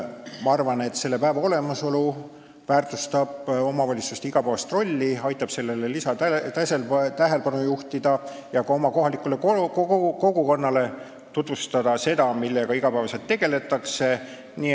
Ma arvan, et selle päeva olemasolu väärtustab omavalitsuste igapäevast rolli, aitab sellele rohkem tähelepanu juhtida ja ka oma kohalikule kogukonnale tutvustada seda, millega iga päev tegeldakse.